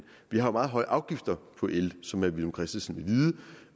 vi har meget høje afgifter på el som herre villum christensen